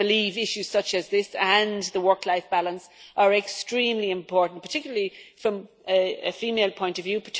I believe issues such as this, and the work life balance, are extremely important, particularly from a female point of view.